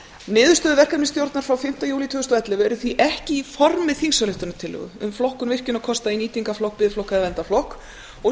niðurstöður verkefnisstjórnar frá fimmti júlí tvö þúsund og ellefu eru því ekki í formi þingsályktunartillögu um flokkun virkjunarkosta í nýtingarflokk biðflokk eða verndarflokk